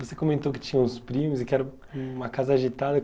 Você comentou que tinha uns primos e que era uma casa agitada.